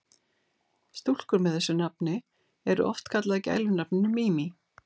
Stúlkur með þessu nafni eru oft kallaðar gælunafninu Mimi.